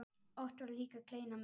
Oft var líka kleina með.